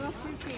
Bizdə kran var.